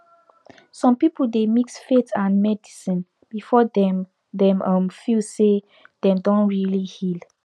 some people dey mix faith and medicine before dem dem um feel say dem don really heal